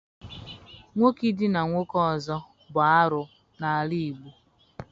Nwoke idina nwoke ọzọ bụ arụ n'ala Igbo